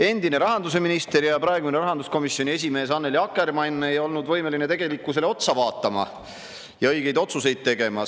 Endine rahandusminister ja praegune rahanduskomisjoni esimees Annely Akkermann ei olnud võimeline tegelikkusele otsa vaatama ja õigeid otsuseid tegema.